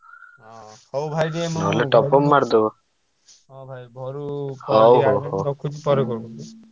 ହଉ ଭାଇ ଟିକେ ମୁଁ ହଁ ଭାଇ ମୁଁ ରଖୁଛି ପରେ call କରୁଛି।